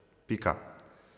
Pika.